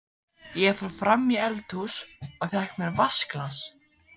Ég fór fram í eldhús og fékk mér vatnsglas.